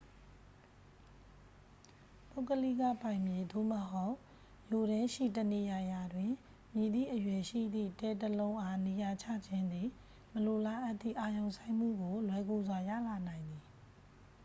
ပုဂ္ဂလိကပိုင်မြေ သို့မဟုတ် မြို့ထဲရှိတနေရာရာတွင် မည့်သည့်အရွယ်ရှိသည့် တဲ တစ်လုံးအား နေရာချခြင်းသည် မလိုလားအပ်သည့် အာရုံစိုက်မှုကို လွယ်ကူစွာ ရလာနိုင်သည်